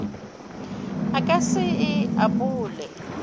a ka se e apole